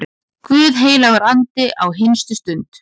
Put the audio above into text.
Guð helgur andi, á hinstu stund